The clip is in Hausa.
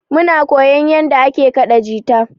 Muna koyan yanda ake kaɗa jita.